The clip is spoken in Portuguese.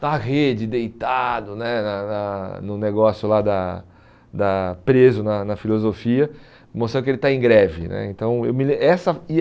Na rede, deitado né na na no negócio lá da da, preso na na filosofia, mostrando que ele está em greve né. Então eu me lem essa e